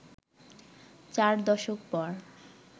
চার দশক পর